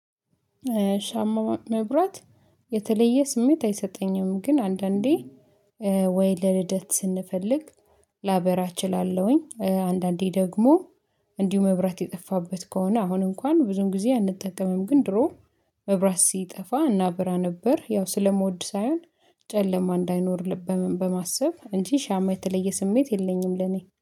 ሻማ ማብራት የተለየ ስሜት አይሰጠኝም። ግን አንዳንዴ ወይ ለልደት ስንፈልግ ላበራ እችላለሁኝ። አንዳንዴ ደግሞ እንዲሁ መብራት የጠፋበት ከሆነ አሁን እንኳን ብዙም ጊዜ አንጠቀምም። ግን ድሮ መብራት ሲጠፋ እናብራ ነበር። ያው ስለመወድ ሳይሆን ጨለማ እንዳይኖር በማሰብ እንጂ ሻማ የተለየ ስሜት የለኝም ለኔ